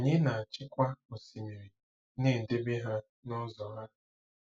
na-achịkwa osimiri, na-edebe ha nụzọ ha?